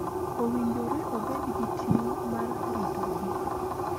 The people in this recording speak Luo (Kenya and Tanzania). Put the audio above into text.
Owinjore obed gi ting� mar ritogi.